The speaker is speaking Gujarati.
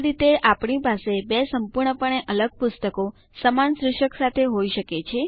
આ રીતે આપણી પાસે બે સંપૂર્ણપણે અલગ પુસ્તકો સમાન શીર્ષક સાથે હોય શકે